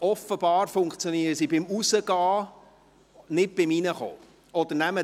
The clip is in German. Offenbar funktionieren die Karten beim Hinausfahren, nicht aber beim Hineinfahren.